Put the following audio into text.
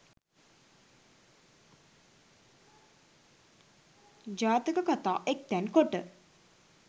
ජාතක කතා එක්තැන් කොට